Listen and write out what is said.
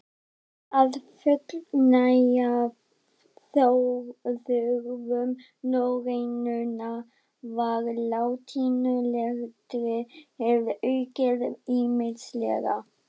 Til að fullnægja þörfum norrænunnar var latínuletrið aukið ýmislega.